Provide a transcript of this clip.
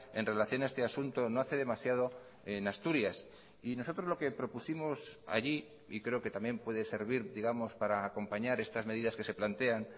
en relación a este asunto no hace demasiado en asturias y nosotros lo que propusimos allí y creo que también puede servir digamos para acompañar estas medidas que se plantean